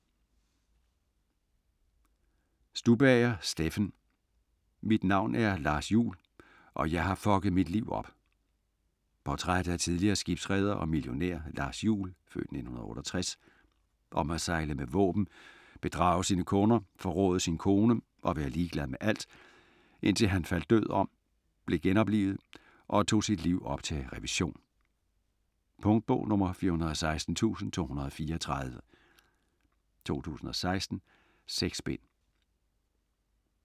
Stubager, Steffen: Mit navn er Lars Juhl, og jeg har fucket mit liv op Portræt af tidligere skibsreder og millionær Lars Juhl (f. 1968), om at sejle med våben, bedrage sine kunder, forråde sin kone og være ligeglad med alt, indtil han faldt død om, blev genoplivet og tog sit liv op til revision. Punktbog 416234 2016. 6 bind.